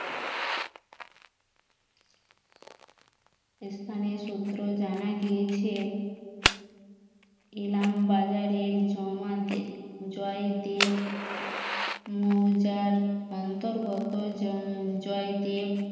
স্থানীয় সূত্রে জানা গিয়েছে ইলামবাজারের জমাতের জয়দেব মৌজার অন্তর্গত জয়দেব